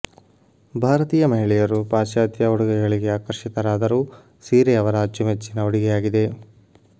ಭಾರತೀಯ ಮಹಿಳೆಯರು ಪಾಶ್ಚಾತ್ಯ ಉಡುಗೆಗಳಿಗೆ ಆಕರ್ಷಿತರಾದರೂ ಸೀರೆ ಅವರ ಅಚ್ಚುಮೆಚ್ಚಿನ ಉಡುಗೆಯಾಗಿದೆ